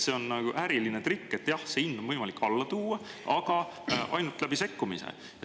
See on äriline trikk, et jah, see hind on võimalik alla tuua, aga ainult läbi sekkumise.